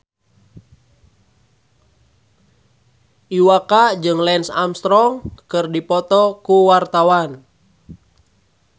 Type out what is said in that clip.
Iwa K jeung Lance Armstrong keur dipoto ku wartawan